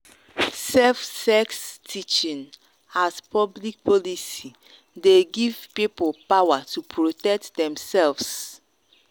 safe sex teaching as public policy dey give people power to protect themselves.